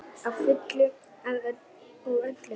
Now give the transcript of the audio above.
Að fullu og öllu.